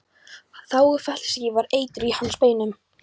Þágufallssýki var eitur í hans beinum.